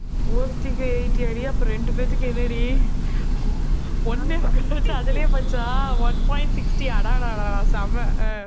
ஒருத்திக்கு eighty யாடி அப்போ ரெண்டு பேர்த்துக்கு என்னடி? ஒண்ணே முக்கால் லட்சம் அதிலே போச்சா one point sixty அடா டா டா செம்ம ஆஹ்